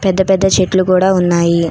పెద్ద పెద్ద చెట్లు కూడా ఉన్నాయి.